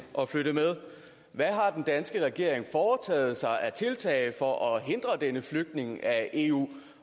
at flytte med hvad har den danske regering taget af tiltag for at hindre denne flytning af eu